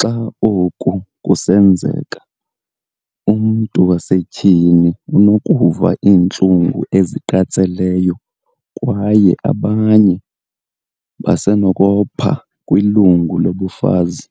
Xa oku kusenzeka, umntu wasetyhini unokuva iintlungu eziqatseleyo kwaye abanye basenokopha kwilungu lobufazi."